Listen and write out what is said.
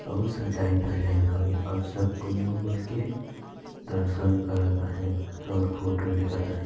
बहुत सजाईन धजाईन हवे और सब कोई मिलके दर्शन करत हाँय और फोटो लेहत है।